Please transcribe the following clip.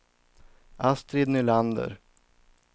Astrid Nylander